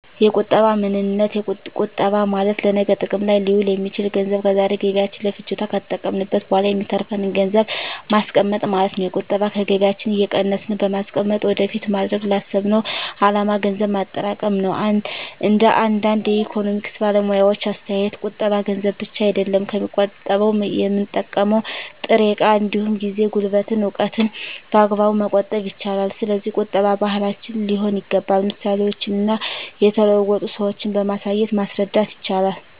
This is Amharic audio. የቁጠባ ምንነት ቁጠባ ማለት ለነገ ጥቅም ላይ ሊውል የሚችል ገንዘብ ከዛሬ ገቢያችን ለፍጆታ ከተጠቀምንት በኋላ የሚተርፍን ገንዘብን ማስቀመጥ ማለት ነው። የቁጠባ ከገቢያችን እየቀነስን በማስቀመጥ ወደፊት ማድረግ ላሰብነው አላማ ገንዘብ ማጠራቀም ነው። እንደ አንዳንድ የኢኮኖሚክስ ባለሙያዎች አስተያየት ቁጠባ ገንዘብ ብቻ አይደለም የሚቆጠበው የምንጠቀመው ጥሬ እቃ እንዲሁም ጊዜ፣ ጉልበትን፣ እውቀትን በአግባቡ መቆጠብ ይቻላል። ስለዚህ ቁጠባ ባህላችን ሊሆን ይገባል ምሳሌዎችን እና የተለወጡ ሰዎችን በማሳየት ማስረዳት ይቻላል